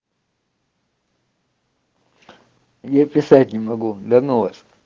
я писать не могу да ну вас